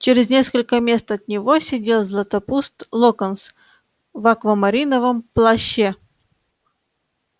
через несколько мест от него сидел златопуст локонс в аквамариновом плаще